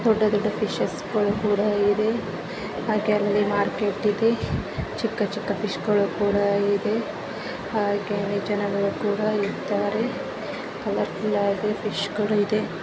ದೊಡ್ಡ ದೊಡ್ಡ ಫಿಶರ್ಗ ಳು ಕೂಡ ಇದೆ ಹಾಗೆ ಅಲ್ಲಿ ಮಾರ್ಕೆಟ್ ಇದೆ ಚಿಕ್ಕ ಚಿಕ್ಕ ಫಿಶ ಗಳು ಕೂಡ ಇದೆ ಹಾಗೆ ಜನಗಳು ಕೂಡ ಇದ್ದಾರೆ ಕಲರ ಕಲರದು ಫಿಶ ಕುಡ ಇದೆ .